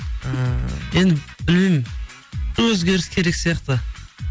ы енді білмеймін өзгеріс керек сияқты